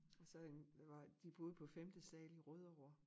Og så øh det var de boede på femte sal i Rødovre